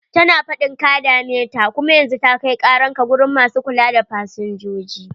Tana faɗin ka dame ta, kum yanzu ta an kai karan ka gurin masu kula da fasinjoji.